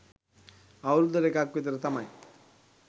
අවුරුද්දකට එකක් විතර තමයි